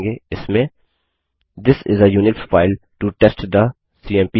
इसमें this is a Unix file to test the CMP command